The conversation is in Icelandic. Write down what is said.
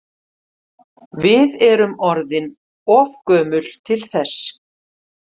Við erum orðin of gömul til þess.